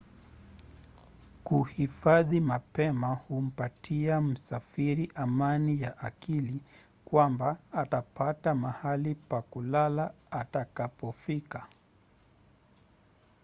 kuhifadhi mapema humpatia msafiri amani ya akili kwamba atapata mahali pa kulala atakapofika